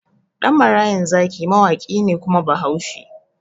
Ɗan marayan zaki mawaƙi ne kuma bahaushe